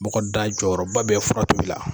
Mɔgɔ da jɔyɔrɔba bɛ furakɛli la.